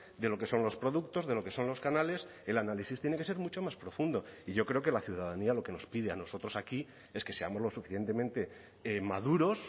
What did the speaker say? de lo que son los productos de lo que son los canales el análisis tiene que ser mucho más profundo y yo creo que la ciudadanía lo que nos pide a nosotros aquí es que seamos lo suficientemente maduros